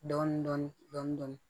Dɔɔnin dɔɔnin